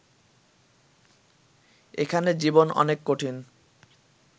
এখানে জীবন অনেক কঠিন